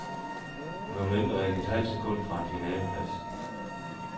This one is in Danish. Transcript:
Hun var mindre end et halvt sekund fra en finaleplads.